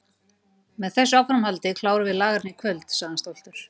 Með þessu áframhaldi klárum við lagerinn í kvöld sagði hann stoltur.